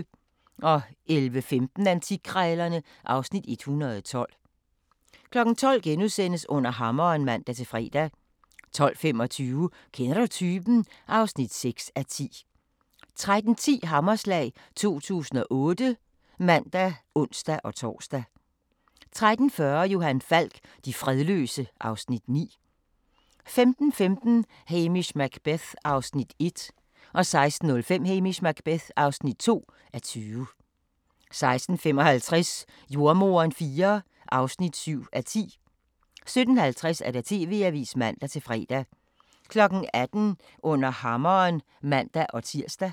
11:15: Antikkrejlerne (Afs. 112) 12:00: Under hammeren *(man-fre) 12:25: Kender du typen? (6:10) 13:10: Hammerslag 2008 (man og ons-tor) 13:40: Johan Falk: De fredløse (Afs. 9) 15:15: Hamish Macbeth (1:20) 16:05: Hamish Macbeth (2:20) 16:55: Jordemoderen IV (7:10) 17:50: TV-avisen (man-fre) 18:00: Under hammeren (man-tir)